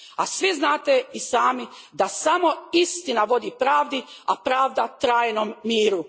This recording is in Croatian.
A svi znate i sami da samo istina vodi pravdi, a pravda trajnom miru.